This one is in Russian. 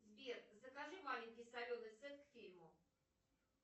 сбер закажи маленький соленый сет к фильму